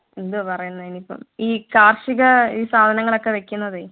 എന്തുവാ പറയുന്നേ അതിനിപ്പോ ഈ കാർഷിക ഈ സാധനങ്ങളൊക്കെ വെക്കുന്നതെ